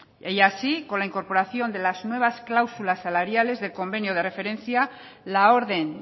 y así con la incorporación de la nuevas clausulas salariales del convenio de referencia la orden